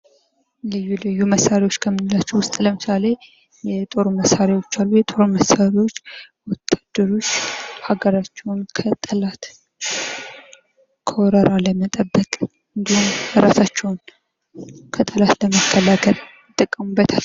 ልዩ ልዩ መሳሪያዎች ከምንላቸው ለምሳሌ የጦር መሳሪያዎች አሉ። የጦር መሳሪያዎች ወታደሮች ሀገራቸውን ከጠላት ከወረራ ለመጠበቅ እንዲሁም እራሳቸውን ከጠላት ለመከላከል ይጠቀሙበታል።